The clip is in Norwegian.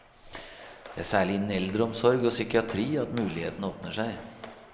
Det er særlig innen eldreomsorg og psykiatri at mulighetene åpner seg.